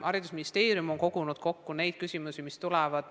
Haridusministeerium on kogunud kokku küsimused, mis tulevad.